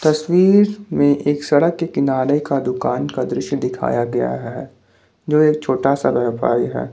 तस्वीर में एक सड़क के किनारे का दुकान का दृश्य दिखाया गया है जो एक छोटा सा व्यापारी है।